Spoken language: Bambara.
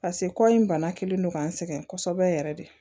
pase kɔ in bana kelen don ka n sɛgɛn kosɛbɛ yɛrɛ de